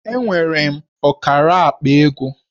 Enwere m ọkara akpa ego